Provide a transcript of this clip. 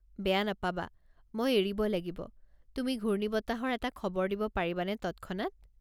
বেয়া নাপাবা, মই এৰিব লাগিব, তুমি ঘূৰ্ণিবতাহৰ এটা খবৰ দিব পাৰিবানে তৎক্ষণাত?